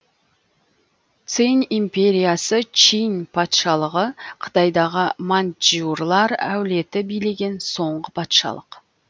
цинь империясы чинь патшалығы қытайдағы маньчжурлар әулеті билеген соңғы патшалық